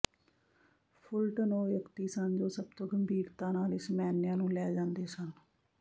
ਫੁਲਟਨ ਉਹ ਵਿਅਕਤੀ ਸਨ ਜੋ ਸਭ ਤੋਂ ਗੰਭੀਰਤਾ ਨਾਲ ਇਸ ਮੈਨਿਆ ਨੂੰ ਲੈ ਜਾਂਦੇ ਸਨ